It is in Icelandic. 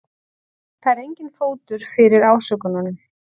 Það er enginn fótur fyrir ásökununum